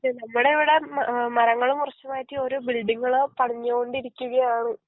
നമ്മടിവിടെ ഏ മരങ്ങള് മുറിച്ച് മാറ്റി ഓരോ ബിൽഡിങ്ങള് പണിഞോണ്ടിരിക്കുകയാണ്